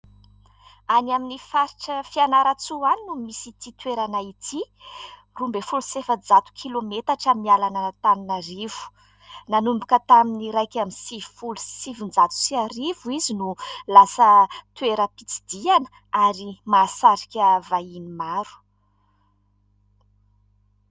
Any amin'ny faritra Fianarantsoa any no misy ity toerana ity, roa ambin'ny folo sy efajato kilometatra miala an'Antananarivo. Nanomboka tamin'ny iraika amby sivifolo sy sivinjato sy arivo izy no lasa toeram-pitsidihana ary mahasarika vahiny maro.